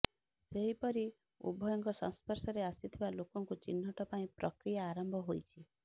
ସେହିପରି ଉଭୟଙ୍କ ସଂସ୍ପର୍ଶରେ ଆସିଥିବା ଲୋକଙ୍କୁ ଚିହ୍ନଟ ପାଇଁ ପ୍ରକ୍ରିୟା ଆରମ୍ଭ ହୋଇଛି